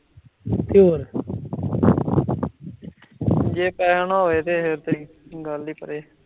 ਜੇ ਪੇਹਾ ਨਾ ਹੋਵੇ ਤੇ , ਗੱਲ ਹੀ ਪਰੇ ਐ